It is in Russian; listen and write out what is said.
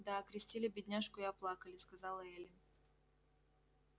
да окрестили бедняжку и оплакали сказала эллин